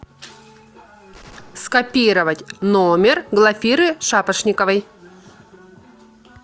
скопировать номер глафиры шапошниковой